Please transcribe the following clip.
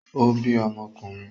Ó bí ọmọkùnrin?